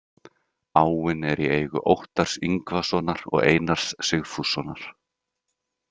Áin er í eigu Óttars Yngvasonar og Einars Sigfússonar.